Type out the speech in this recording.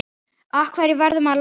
Af hverju verður maður latur?